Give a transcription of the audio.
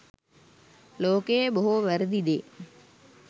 ලෝකයේ බොහෝ වැරැදි දේ